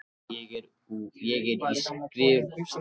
Ég er í skrúfstykki.